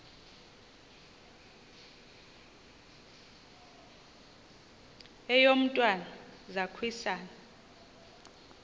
eyo mntwana zaquisana